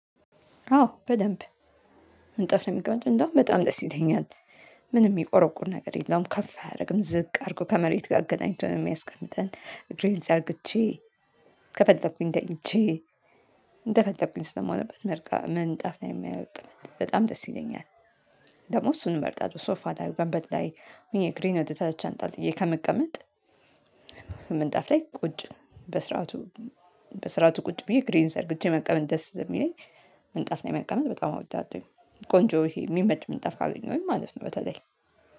አዎ በደንብ። ምን ጠፍ ነው የሚቀመጥ እንደውም በጣም ጥስ ይለኛል። ምንም የሚቆረቁር ነገር የለውም ከፍ አያደርግም ዝቅ አድርጎ ከመሬት ጋር አገናኝተን ነው የሚያስቀምጠን እግሬን ዘርግቼ። ከፈለኩኝ ተኝቼ እንደፈለኩኝ ስለምሆንበት መርቃ ምንጣፍ ላይ መቀመጥ በጣም ደስ ይለኛል። ደግሞ እሱን መርጣለው ሶፋ ላይ ወንበር ላይ ሁኜ እግሬን ወደታች አንጠልጥዬ ከመቀመጥ። ምንጣፍ ላይ ቁጭ በስርዓቱ በስርዓቱ ቁጭ ብዬ እግሬን ዘርግቼ መቀመጥ ደስ ስለሚለኝ። ምንጣፍ ላይ መቀመጥ በጣም አወዳሁኝ ቆንጆ የሚመች ምንጣፍ ካገኘሁኝ ማለት ነው። በተለይ